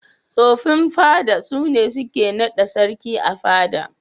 Tsofin fada sune suke naɗa sarki a fada.